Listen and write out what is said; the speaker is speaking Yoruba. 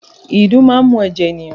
Ìdun máa ń mu ẹ̀jẹ̀ ènìyàn